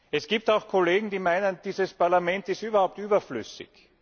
Es gibt auch Kollegen, die meinen, dieses Parlament ist überhaupt überflüssig.